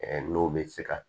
N'o bɛ se ka